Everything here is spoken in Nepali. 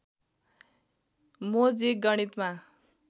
मो जिग गणितमा